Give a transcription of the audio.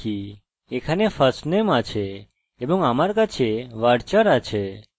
চলুন fieldname লিখি এখানে firstname আছে এবং আমার কাছে varchar আছে